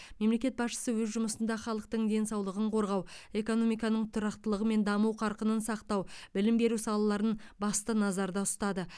мемлекет басшысы өз жұмысында халықтың денсаулығын қорғау экономиканың тұрақтылығы мен даму қарқынын сақтау білім беру салаларын басты назарда ұстады